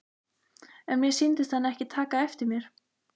En mér sýndist hann ekki taka eftir mér.